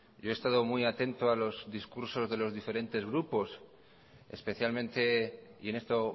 yo he estado muy atento a los discursos de los diferentes grupos especialmente y en esto